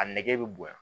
A nɛgɛ bɛ bonya